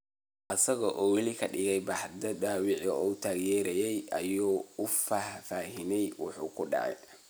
Isaga oo weli ka dhiig baxaya dhaawacii uu tooriyeeyay, ayuu u faahfaahiyay waxa ku dhacay.